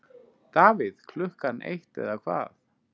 Davíð Klukkan eitt eða hvað?